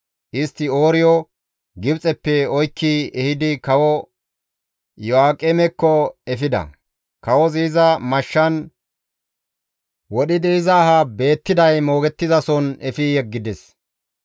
Istti Ooriyo Gibxeppe oykki ehidi kawo Iyo7aaqemekko efida. Kawozi iza mashshan wodhidi iza aha beettiday moogettizason efi yeggides.